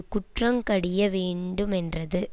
குற்றங் கடிய வேண்டு மென்றது